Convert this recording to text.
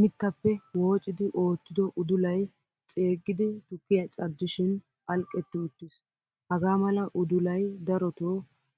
Mittappe woocidi oottido udulay ceegidi tukkiya cadishin phalqqeetti uttiiis. Hagaamala udulay daroto